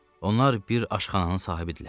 Onlar bir aşxananın sahibidirlər.